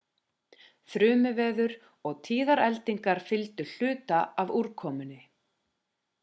þrumuveður og tíðar eldingar fylgdu hluta af úrkomunni